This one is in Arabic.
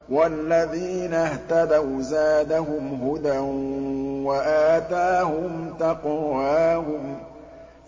وَالَّذِينَ اهْتَدَوْا زَادَهُمْ هُدًى وَآتَاهُمْ تَقْوَاهُمْ